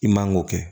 I man k'o kɛ